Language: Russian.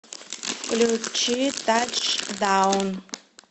включи тачдаун